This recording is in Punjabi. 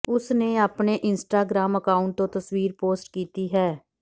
ਉਸਨੇ ਆਪਣੇ ਇੰਸਟਾਗ੍ਰਾਮ ਅਕਾਉਂਟ ਤੋਂ ਤਸਵੀਰ ਪੋਸਟ ਕੀਤੀ ਹੈ